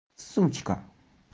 сучка